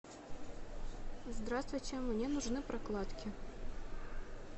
здравствуйте мне нужны прокладки